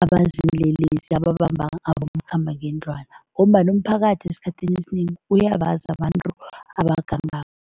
abaziinlelesi ababamba abomakhambangendlwana ngombana umphakathi esikhathini esinengi, uyabazi abantu abagangako.